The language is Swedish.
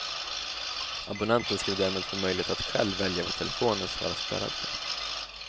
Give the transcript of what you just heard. Abonnenten skulle därmed få möjlighet att själv välja vad telefonen ska vara spärrad för.